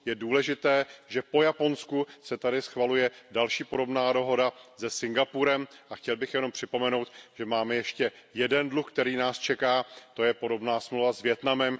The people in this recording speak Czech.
Je důležité, že po Japonsku se tady schvaluje další podobná dohoda se Singapurem, a chtěl bych jenom připomenout, že máme ještě jeden dluh, který nás čeká, to je podobná smlouva s Vietnamem.